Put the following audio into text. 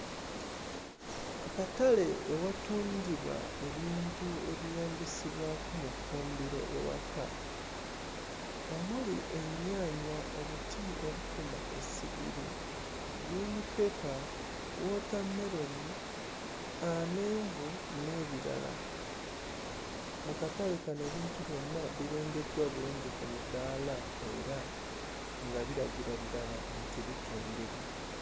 Akatale ewatundibwa ebintu ebyeyambisibwako mu ffumbiro ewaka omuli ennyaanya, obuti obukuma essigiri, gguliinippepa, wootammeroni, amenvu n'ebirala. Mu katale ebintu byonna birengeddwa bulungi ku mudaala era nga biragira ddala nti bitundibwa.